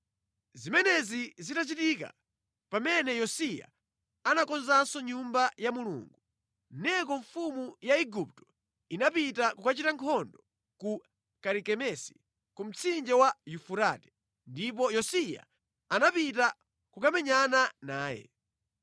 Zimenezi zitachitika, pamene Yosiya anakonzanso Nyumba ya Mulungu, Neko mfumu ya Igupto inapita kukachita nkhondo ku Karikemesi ku mtsinje wa Yufurate, ndipo Yosiya anapita kukamenyana naye.